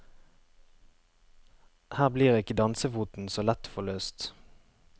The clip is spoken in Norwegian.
Her blir ikke dansefoten så lett forløst.